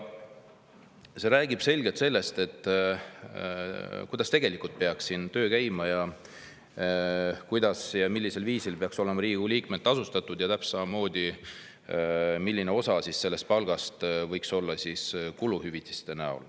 See räägib selgelt sellest, kuidas tegelikult peaks siin töö käima, kuidas ja millisel viisil peaksid Riigikogu liikmed olema tasustatud ja täpselt samamoodi, et milline osa palgast võiksid olla kuluhüvitised.